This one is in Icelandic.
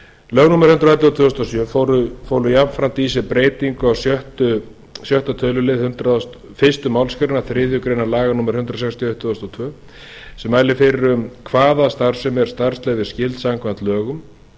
lög númer hundrað og ellefu tvö þúsund og sjö fólu jafnframt í sér breytingu á sjötta tölulið fyrstu málsgrein þriðju grein laga númer hundrað sextíu og eitt tvö þúsund og tvö sem mælir fyrir um hvaða starfsemi er starfsleyfisskyld samkvæmt lögum